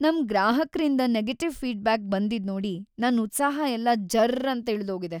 ನಮ್‌ ಗ್ರಾಹಕ್ರಿಂದ negative feedback ಬಂದಿದ್ನೋಡಿ ನನ್‌ ಉತ್ಸಾಹ ಎಲ್ಲ ಜರ್ರಂತ ಇಳ್ದೋಗಿದೆ.